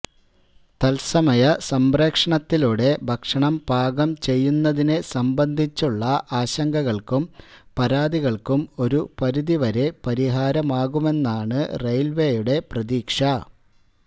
തത്സമയ സംപ്രേക്ഷണത്തിലൂടെ ഭക്ഷണം പാകം ചെയ്യുന്നതിനെ സംബന്ധിച്ചുള്ള ആശങ്കകള്ക്കും പരാതികള്ക്കും ഒരുപരിധി വരെ പരിഹാരമാകുമെന്നാണ് റെയില്വേയുടെ പ്രതീക്ഷ